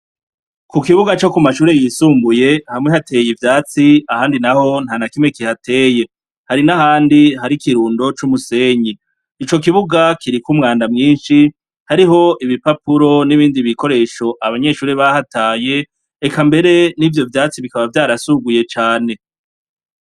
Ku kibuga co ku mashure yisumbuye hamwe hateye ivyatsi ahandi naho nta na kimwe kihateye. Hari n'ahandi hari ikirundo c'umusenyi. Ico kibuga kiriko umwanda mwinshi, hariho ibipapuro n'ibindi bikoresho abanyeshuri bahataye. eka mbere n'ivyo vyatsi bikaba vyarasuguye cane.